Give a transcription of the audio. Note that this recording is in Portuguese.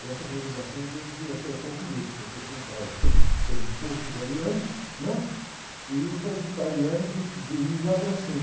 E essa conjugação dizem que acertou comigo, porque eu sou um cara, aquele impulso do ariano, né? E o sagitariano que dirige lá para cima.